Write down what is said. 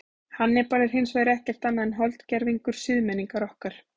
Hannibal er hins vegar ekkert annað en holdgervingur siðmenningar okkar.